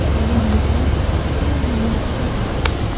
Qolgan valyutalarda ham shunday holat kuzatildi.